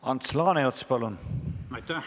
Ants Laaneots, palun!